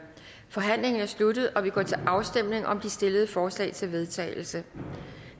forhandlingen er sluttet og vi går til afstemning om de stillede forslag til vedtagelse